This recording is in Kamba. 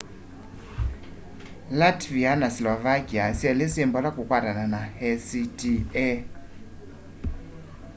latvia na slovakia syeli syi mbola kukwatana na acta